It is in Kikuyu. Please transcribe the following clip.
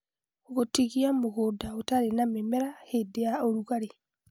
Gũtigia mũgũnda ũtarĩ na mĩmera hĩndĩ ya ũrugarĩ